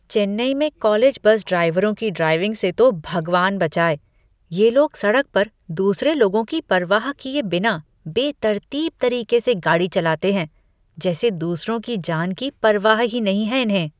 चेन्नई में college bus ड्राइवरों की ड्राइविंग से तो भगवान बचाए। ये लोग सड़क पर दूसरे लोगों की परवाह किए बिना बेतरतीब तरीके से गाड़ी चलाते हैं, जैसे दूसरों की जान की परवाह ही नहीं है इन्हें।